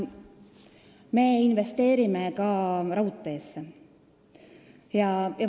Me investeerime ka raudteesse.